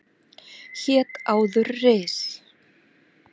Hét áður Ris